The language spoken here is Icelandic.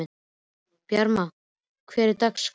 Bjarma, hvernig er dagskráin?